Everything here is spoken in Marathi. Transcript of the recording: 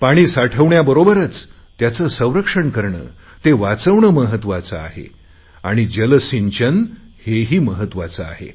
पाण साठवण्याबरोबरच त्याचे संरक्षण करणे ते वाचवणे महत्वाचे आहे आणि जलसिंचन हेही महत्त्वाचे आहे